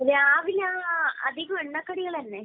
രാവിലെ അധികവും എണ്ണക്കടികള് തന്നേ.